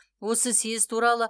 осы съез туралы